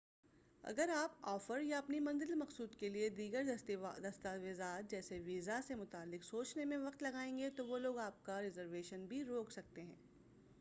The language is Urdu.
اگر آپ آفر یا اپنی منزل مقصود کیلئے دیگر دستاویزات جیسے ویزا سے متعلق سوچنے میں وقت لگائیں گے تو وہ لوگ آپ کا ریزرویشن بھی روک سکتے ہیں۔